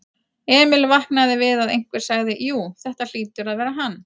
Emil vaknaði við að einhver sagði: Jú, þetta hlýtur að vera hann.